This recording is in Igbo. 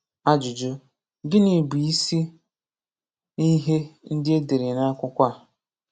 Ajụjụ: Gịnị bụ ịsị ihé ndị édere n'akwụkwọ a?